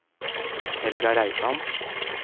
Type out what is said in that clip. Helga Reitan